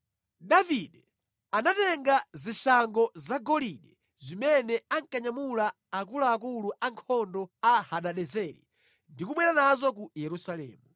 Davide anatenga zishango zagolide zimene ankanyamula akuluakulu ankhondo a Hadadezeri ndi kubwera nazo ku Yerusalemu.